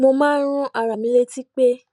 mo máa ń rán ara mi létí pé